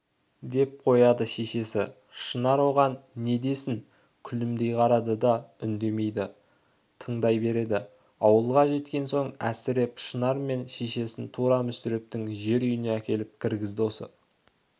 деп қояды шешесі шынар оған не десін күлімдей қарайды да үндемейді тыңдай береді ауылға жеткен соң әсіреп шынар мен шешесін тура мүсірептің жер үйіне әкеліп кіргізді осы